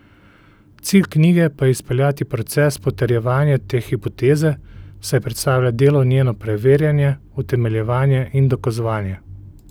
Cilj knjige pa je izpeljati proces potrjevanje te hipoteze, saj predstavlja delo njeno preverjanje, utemeljevanje in dokazovanje.